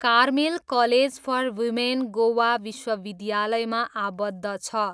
Carmel college for women Goa विश्वविद्यालयमा आबद्ध छ।